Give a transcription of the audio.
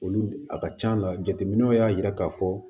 Olu a ka c'a la jateminɛw y'a jira k'a fɔ